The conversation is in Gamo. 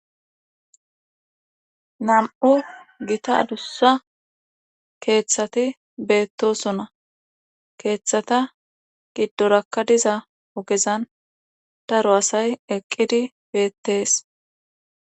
Nam'u gita adussa keeththati beettosona keeththata giddorakka diza ogezan daro asay eqqidi beettees.